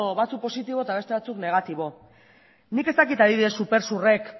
batzuk positibo eta beste batzuk negatibo nik ez dakit adibidez supersurrek